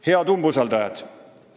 " Head umbusaldajad!